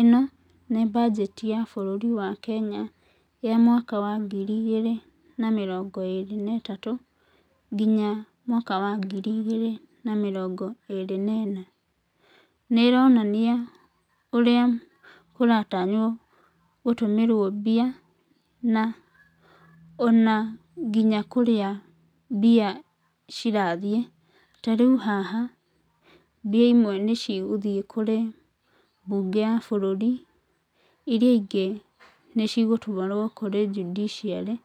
Ĩno nĩ mbanjeti ya bũrũri wa Kenya, ya mwaka wa ngiri igĩrĩ na mĩrongo ĩĩrĩ na ĩtatũ, nginya mwaka wa ngiri igĩrĩ na mĩrongo ĩĩrĩ na ĩna. Nĩ ĩronania ũrĩa kũratanywo gũtũmĩrwo mbia, na ona nginya kũrĩa mbia cirathiĩ. Ta rĩu haha, mbia imwe nĩ cigũthiĩ kũrĩ mbunge ya bũrũri, iria ingĩ, nĩcigũtwarwo kũrĩ judiciary,